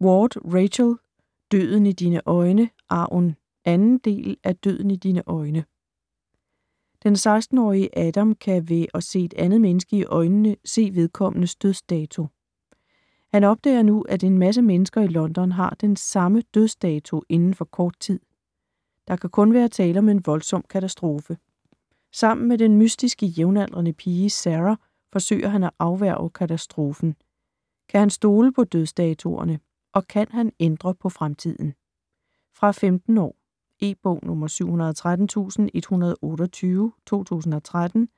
Ward, Rachel: Døden i dine øjne - arven 2. del af Døden i dine øjne. Den 16-årige Adam kan ved at se et andet menneske i øjnene se vedkommendes dødsdato. Han opdager nu, at en masse mennesker i London har den sammen dødsdato inden for kort tid. Der kan kun være tale om en voldsom katastrofe. Sammen med den mystiske jævnaldrende pige, Sarah forsøger han at afværge katastrofen. Kan han stole på dødsdatoerne, og kan han ændre på fremtiden? Fra 15 år. E-bog 713128 2013.